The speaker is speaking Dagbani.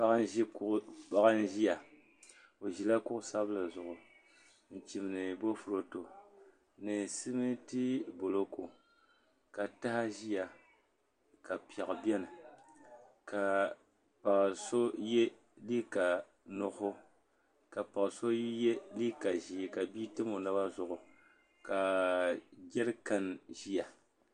Paɣa n ʒiya o ʒila kuɣu sabinli zuɣu n chimdi boofurooto ni simiiti buloku ka taha ʒiya ka piɛɣu biɛni ka paɣa so yɛ liiga nuɣso ka paɣa so yɛ liiga ʒiɛ ka bia tam o naba zuɣu ka jɛeikan ʒia